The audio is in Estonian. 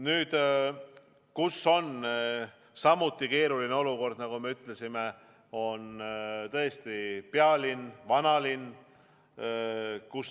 Nüüd, kus on samuti keeruline olukord, nagu ma ütlesin, on tõesti pealinn, vanalinn.